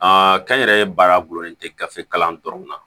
Aa kɛnyɛrɛye baara gulolen tɛ gafe kalan dɔrɔnw na